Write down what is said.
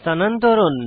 স্থানান্তরণ